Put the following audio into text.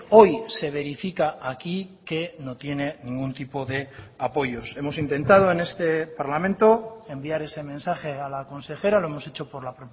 hoy se verifica aquí que no tiene ningún tipo de apoyos hemos intentado en este parlamento enviar ese mensaje a la consejera lo hemos hecho por la